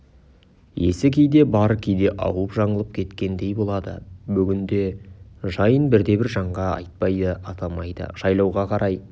есі кейде бар кейде ауып жаңылып кеткендей болады бүгінгі жайын бірде-бір жанға айтпайды атамайды жайлауға қарай